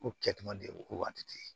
Ko kɛtuma de ye ko waati te ye